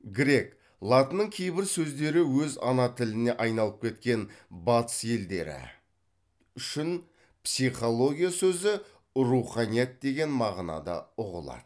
грек латынның кейбір сөздері өз ана тіліне айналып кеткен батыс елдері үшін психология сөзі руханият деген мағынада ұғылады